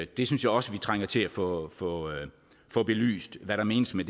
det synes jeg også vi trænger til at få få belyst hvad der menes med